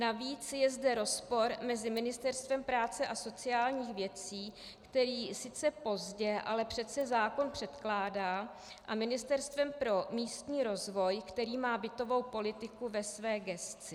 Navíc je zde rozpor mezi Ministerstvem práce a sociálních věcí, které sice pozdě, ale přece zákon předkládá, a Ministerstvem pro místní rozvoj, které má bytovou politiku ve své gesci.